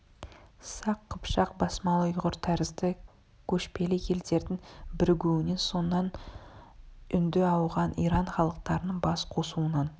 сақ қыпшақ басмалы ұйғыр тәрізді көшпелі елдердің бірігуінен соңынан үнді ауған иран халықтарының бас қосуынан